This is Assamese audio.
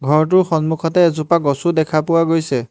ঘৰটোৰ সন্মুখতে এজোপা গছো দেখা পোৱা গৈছে।